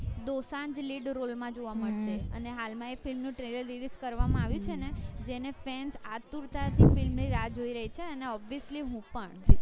Dosanjh lead role માં જોવા મળશે અને હાલ માં એ film નું trailer release અર્વામાં આવ્યું છે ને જેને fans આતુરતા થી વાટ જોઈ રહી છે અને obviously હું પણ